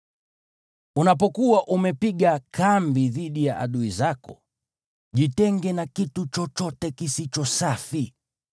Unapokuwa umepiga kambi dhidi ya adui zako, jitenge na kitu chochote kisicho safi.